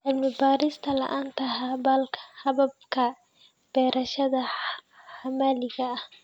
Cilmi-baaris la'aanta hababka beerashada maxalliga ah.